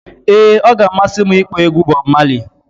ee, ọ ga-amasị m ịkpọ egwu Bọb Mali